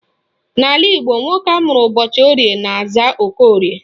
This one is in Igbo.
N'ala Igbo, nwoke amụrụ ụbọchị Orie na-aza Okorie